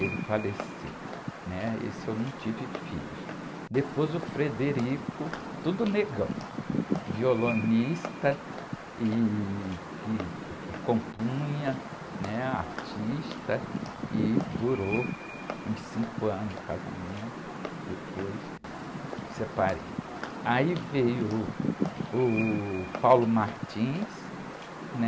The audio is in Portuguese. ele faleceu, né? Esse eu não tive filhos depois o, tudo negão, violonista e que compunha, né? Artista e durou uns cinco anos casamento depois separei aí veio, uh, o, né?